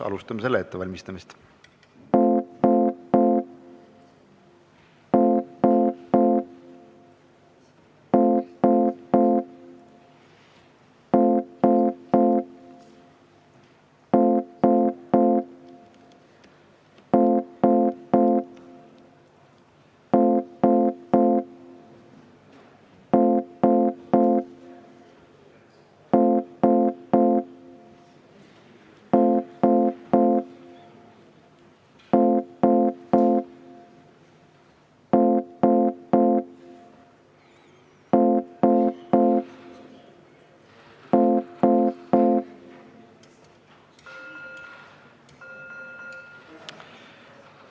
Alustame selle ettevalmistamist.